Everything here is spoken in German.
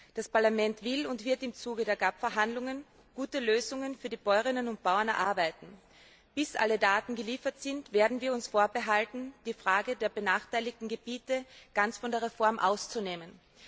Das Parlament will und wird im Zuge der GAP Verhandlungen gute Lösungen für die Bäuerinnen und Bauern erarbeiten. Bis alle Daten geliefert sind, werden wir uns vorbehalten, die Frage der benachteiligten Gebiete ganz von der Reform auszunehmen.